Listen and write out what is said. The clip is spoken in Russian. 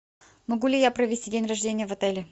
могу ли я провести день рождения в отеле